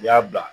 N y'a bila